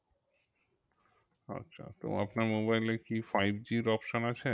আচ্ছা তো আপনার mobile কি five G র option আছে?